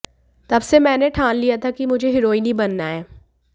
तब से मैंने ठान लिया था कि मुझे हीरोइन ही बनना है